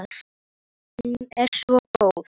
Hún er svo góð.